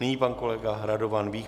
Nyní pan kolega Radovan Vích.